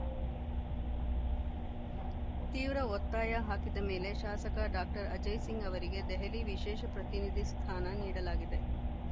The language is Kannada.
ತೀವ್ರ ಒತ್ತಾಯ ಹಾಕಿದ ಮೇಲೆ ಶಾಸಕ ಡಾಕ್ಟರ್ ಅಜಯಸಿಂಗ್‌ ಅವರಿಗೆ ದೆಹಲಿ ವಿಶೇಷ ಪ್ರತಿನಿಧಿ ಸ್ಥಾನ ನೀಡಲಾಗಿದೆ